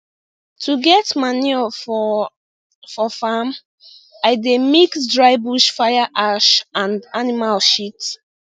to get manure for for farm i dey mix dry bush fire ash and animal shit